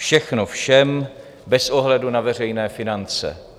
Všechno všem bez ohledu na veřejné finance.